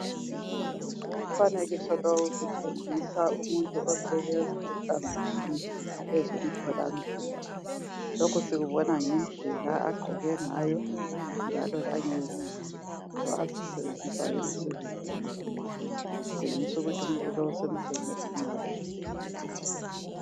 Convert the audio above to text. Umfanekiso lowu usitshengisa umuntu osebenza ehlangothini lwezemthola mpilo. Lokho kusibona ngendlela agqoke ngayo, njalo lezinto azisebenzisayo emsebenzini kutshengisa ukuthi umuntu lowu usemsenenzini wakhe.